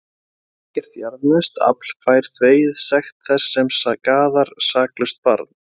Ekkert jarðneskt afl fær þvegið sekt þess sem skaðar saklaust barn.